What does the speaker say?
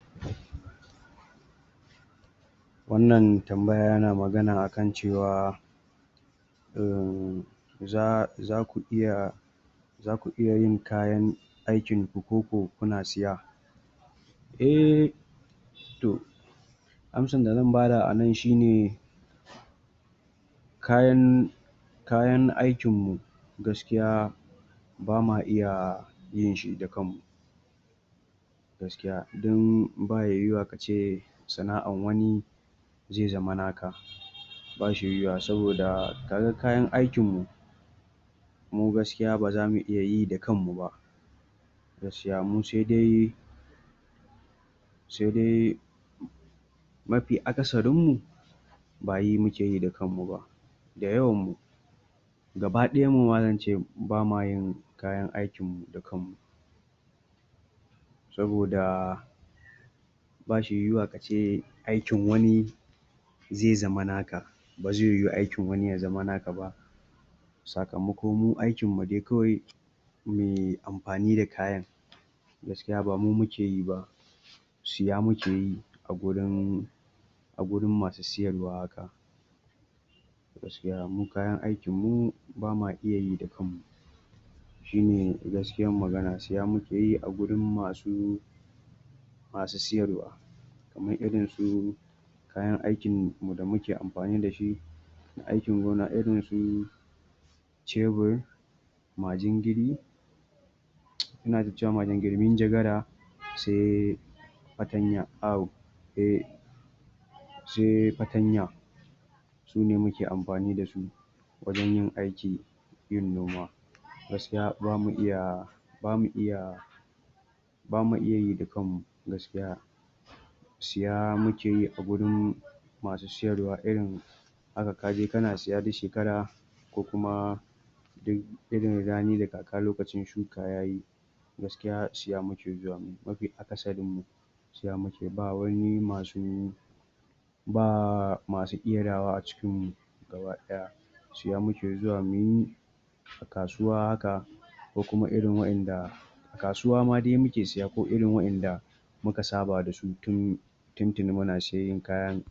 wannan tambaya yana magana akan cewa um za zaku iya zaku iya yin kayan aikin ku koko kuna siya? eh to amsan da zan bada anan shine kayan kayan aikin mu gaskiya bama iya yin shi da kanmu gaskiya dan baya yiwuwa kace sana'an wani zai zama naka. bashi yiwuwa sab da kaga kayan aikin mu mu gaskiya baz amu iya yi da kanmu ba gaskiya mu sai dai sai dai mafi akasarin mu ba yi mukeyi da kanmu ba da yawan mu gaba ɗayan muma zance bamayin kayan aikin mu saboda bashi yiwuwa kace aikin wani zai zama naka bazai yiwu aikin wani ya zama naka ba sakamako mu aikin mu dai kawai muyi amfani da kayan. gaskiya bamu mukeyi ba, siya mukeyi a gurin a gurin masu siyarwa haka. mu kayan aikin mu bama iyayi da kanmu. shine gaskiyan magan siya mukeyi a gurin masu masu siyarwa. kaman irin su kayan aikin mu da muke amfani dashi na aikin gona irin su cebur, majingiri, inata cewa majingiri minjagara, sai fartanye au eh sai fartanya. sune muke amfani dasu wajen yin aiki yin noma gaskiya bamu iya bamu iya bamu iya yi da kanmu gaskiya siya mukeyi a gurin masu siyarwa irin haka kaje kana siya duk shekara ko kuma duk irin rani da kaka lokacin shuka yayi gaskiya siya muke zuwa muyi mafi akasarin mu siya muke ba wani masu baa masu ƙerawa a cikin mu gaba ɗaya siya muke zuwa muyi a kasuwa haka ko kuma irin wa'inda kasuwa ma dai muke siya ko irin wa'inda muka saba dasu tun tuntuni muna siyayyan kayan